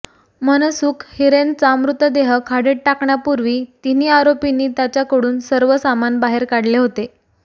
मनसुख हिरेनचा मृतदेह खाडीत टाकण्यापूर्वी तिन्ही आरोपींनी त्याच्याकडून सर्व सामान बाहेर काढले होते